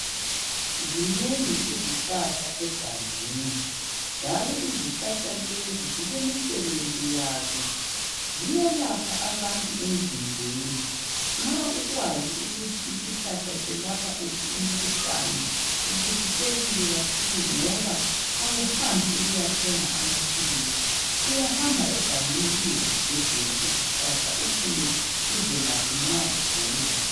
zinengi ezihlahla egangeni njalo izihlahla lezi zilemisebenzi yazo ziyelapha abantu emzimbeni nxa ukwazi ukuthi isihlahla selapha uphi umkhuhlane ubusisekile kakhulu ngoba awuhambi ukuyathenga amaphilisi uyahamba egangeni uyezigebhela izihlahla ubuye uzelaphe ugula